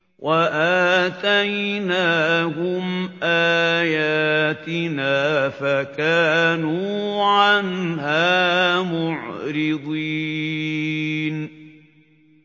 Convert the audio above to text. وَآتَيْنَاهُمْ آيَاتِنَا فَكَانُوا عَنْهَا مُعْرِضِينَ